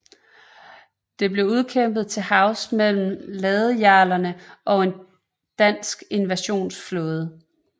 Det blev udkæmpet til havs mellem ladejarlerne og en dansk invasionsflåde